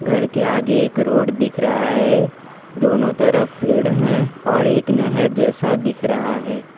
घर के आगे एक रोड दिख रहा हैं दोनों तरफ पेड़ हैं और एक नेहर जैसा दिख रहा हैं।